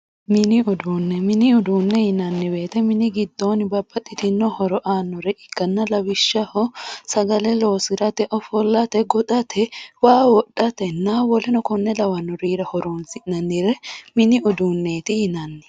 mini uduunne mini uduunne yinanni woyte mini giddoonni babbaxxitinno horo aannore ikkanna lawishshaho sagale loosirate ofollate goxate waa wodhatenna woleno konne lawannorira horoonsi'nannire mini uduunneeti yinanni